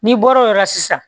N'i bɔr'o yɔrɔ la sisan